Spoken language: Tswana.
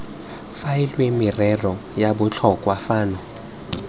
faelwe merero ya botlhokwa fano